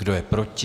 Kdo je proti?